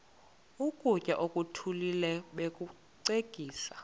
ukutya okuthile bakucekise